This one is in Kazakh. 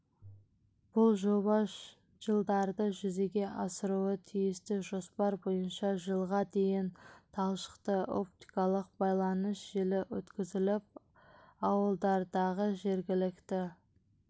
бұл жоба жылдары жүзеге асыруы тиісті жоспар бойынша жылға дейін талшықты-оптикалық байланыс желісі өткізіліп ауылдардағы жергілікті